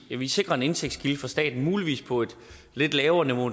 vi sikrer en indtægtskilde for staten muligvis på et lidt lavere niveau